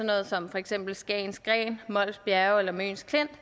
noget som for eksempel skagens gren mols bjerge eller møns klint